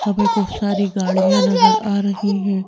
हमें कुछ सारी गाड़ियां नजर आ रही हैं।